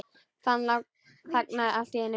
Hann þagnaði allt í einu.